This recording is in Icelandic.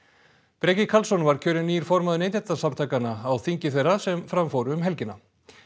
Breki Karlsson var kjörinn nýr formaður Neytendasamtakanna á þingi þeirra sem fram fór um helgina